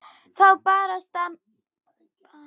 Þá barst til þeirra mæðuleg rödd